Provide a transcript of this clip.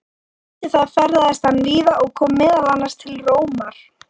Eftir það ferðaðist hann víða og kom meðal annars til Rómar.